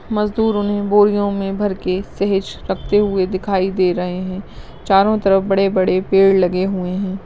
मजदूरों ने बोरियो में भर के सहेज रखते हुए दिखाई दे रहे है चारों तरफ बड़े बड़े पेड़ लगे हुए है।